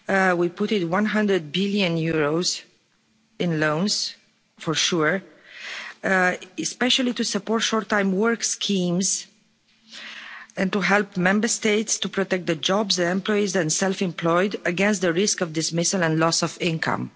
We put in EUR 100 billion in loans for SURE, especially to support short time work schemes and to help the Member States to protect the jobs, the employees and the self employed against the risk of dismissal and loss of income.